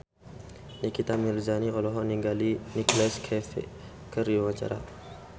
Nikita Mirzani olohok ningali Nicholas Cafe keur diwawancara